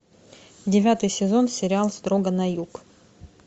девятый сезон сериал строго на юг